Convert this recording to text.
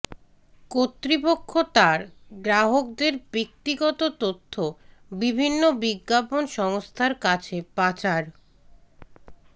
কর্তৃপক্ষ তার গ্রাহকদের ব্যক্তিগত তথ্য বিভিন্ন বিজ্ঞাপন সংস্থার কাছে পাচার